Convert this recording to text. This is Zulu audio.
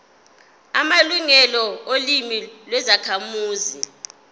amalungelo olimi lwezakhamuzi